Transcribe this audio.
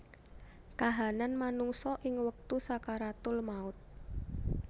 Kahanan manungsa ing wektu sakaratul maut